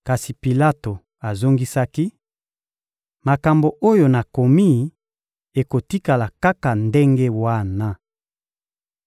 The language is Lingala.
Kasi Pilato azongisaki: — Makambo oyo nakomi ekotikala kaka ndenge wana.